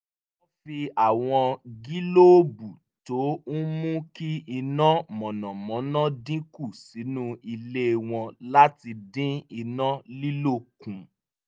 wọ́n fi àwọn gílóòbù tó ń mú kí iná mànàmáná dín kù sínú ilé wọn láti din iná lílò kùn